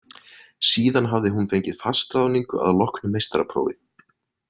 Síðan hafði hún fengið fastráðningu að loknu meistaraprófi.